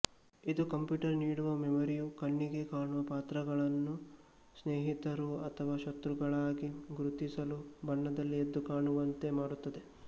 ಇದು ಕಂಪ್ಯೂಟರ್ ನೀಡುವ ಮೆಮೊರಿಯು ಕಣ್ಣಿಗೆ ಕಾಣುವ ಪಾತ್ರಗಳನ್ನು ಸ್ನೇಹಿತರು ಅಥವಾ ಶತ್ರುಗಳಾಗಿ ಗುರುತಿಸಲು ಬಣ್ಣದಲ್ಲಿ ಎದ್ದು ಕಾಣುವಂತೆ ಮಾಡುತ್ತದೆ